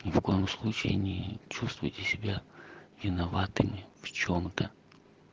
ни в коем случае не чувствуйте себя виноватыми в чем-то